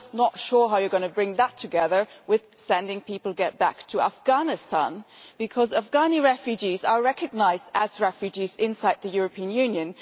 I am just not sure how you are going to bring that together with sending people back to Afghanistan, because Afghani refugees are recognised as refugees inside the European Union